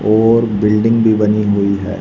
और बिल्डिंग भी बनी हुई है।